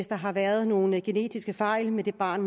der har været nogle genetiske fejl med det barn